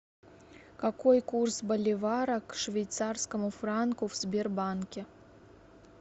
какой курс боливара к швейцарскому франку в сбербанке